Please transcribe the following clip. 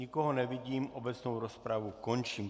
Nikoho nevidím, obecnou rozpravu končím.